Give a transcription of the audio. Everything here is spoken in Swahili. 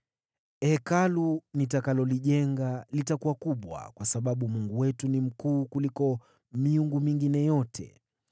“Hekalu nitakalolijenga litakuwa kubwa, kwa sababu Mungu wetu ni mkuu kuliko miungu mingine yote.